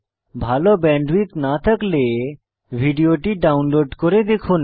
ভাল ব্যান্ডউইডথ না থাকলে ভিডিওটি ডাউনলোড করে দেখুন